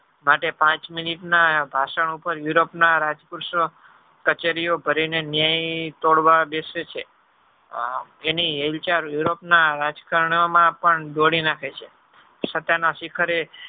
માટે પાંચ minute ના ભાષણ ઉપર europe ના રાજપુરુષો કચેરી ઓ ભરી ને ન્યાય થોડવા બેસે છે એની હાલ ચાલ europe ના રાજકારનો માં પણ દોડી નાખે છે સત્ય ના શિખરે